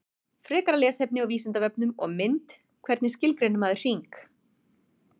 Frekara lesefni á Vísindavefnum og mynd Hvernig skilgreinir maður hring?